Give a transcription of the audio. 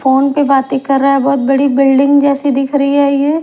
phone पे बातें कर रहा है बहोत बड़ी बिल्डिंग जैसी दिख रही है ये--